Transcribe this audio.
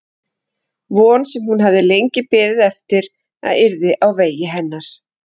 Von sem hún hafði lengi beðið eftir að yrði á vegi hennar.